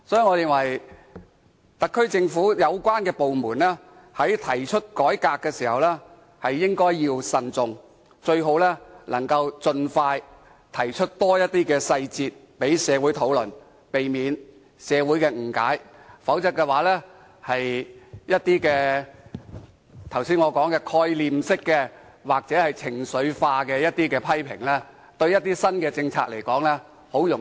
我認為特區政府有關部門在提出改革時應該慎重，最好能盡快提出更多細節讓社會討論，避免社會誤解；否則，正如我剛才提及，會招來的一些概念式或情緒化的批評，容易把某些新政策一棒打死。